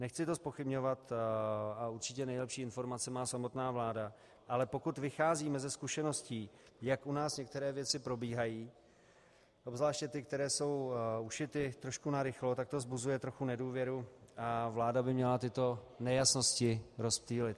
Nechci to zpochybňovat a určitě nejlepší informace má samotná vláda, ale pokud vycházíme ze zkušeností, jak u nás některé věci probíhají, obzvláště ty, které jsou ušity trošku narychlo, tak to vzbuzuje trochu nedůvěru a vláda by měla tyto nejasnosti rozptýlit.